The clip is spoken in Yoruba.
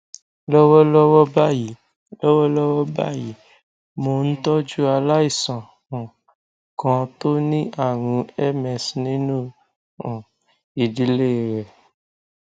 lọwọlọwọ báyìí lọwọlọwọ báyìí mò ń tọjú aláìsàn um kan tó ní àrùn ms nínú um ìdílé rẹ